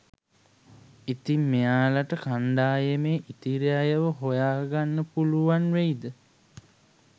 ඉතින් මෙයාලට කණ්ඩායමේ ඉතිරි අයව හොයාගන්න පුලුවන් වෙයිද?